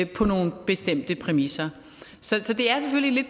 på nogle bestemte præmisser så det er selvfølgelig